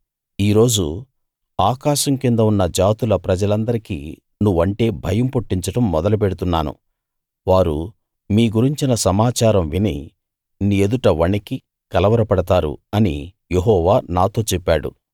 ఈ రోజు ఆకాశం కింద ఉన్న జాతుల ప్రజలందరికీ నువ్వంటే భయం పుట్టించడం మొదలు పెడుతున్నాను వారు మీ గురించిన సమాచారం విని నీ ఎదుట వణకి కలవరపడతారు అని యెహోవా నాతో చెప్పాడు